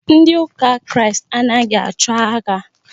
Ndị ụka Kristi anaghị achọ agha.